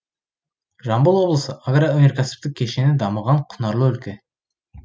жамбыл облысы агроөнеркәсіптік кешені дамыған құнарлы өлке